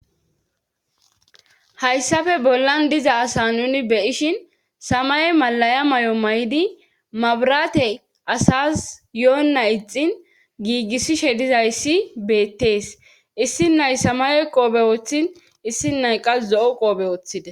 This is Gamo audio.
hayssafe bollan diza asa nuni beyishin samay malaya may7o may7di mabrate asas yo7onna ixin giigissishe dizayssi beettees issi nay samayoy qoobe wooththin issi nay qas zo7o qoobe ooththide